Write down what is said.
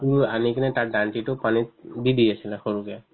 সিটো আনি কিনে তাৰ দাণ্ডিতো পানীত দি দি আছিলে সৰুকে